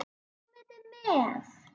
Komiði með!